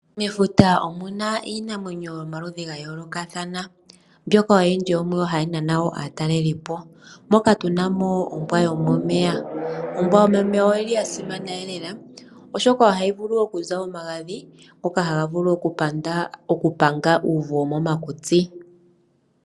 Mefuta omu na iinamwenyo yomaludhi ga yoolokathana mbyoka oyindji yo muyo ohayi nana aatalelipo moka tu na mo ombwa yomomeya ndjoka ya simana lela oshoka ohayi vulu okuza omagadhi ngoka haga vulu okupanga uuvu womomakutsi.